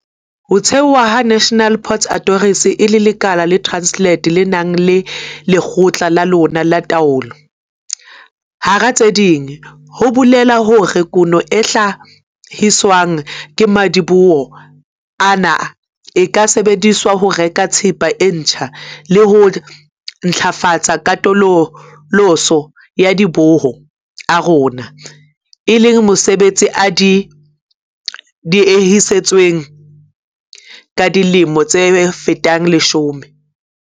Ho thewa ha National Ports Authority e le lekala la Transnet le nang le lekgotla la lona la taolo, hara tse ding, ho bolela hore kuno e hla-hiswang ke madiboho ana e ka sebedisetswa ho reka thepa e ntjha le ho ntlafatsa katoloso ya madiboho a rona, e leng mosebetsi o diehisitsweng ka dilemo tse fetang leshome.